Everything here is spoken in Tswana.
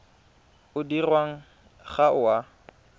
o dirwang ga o a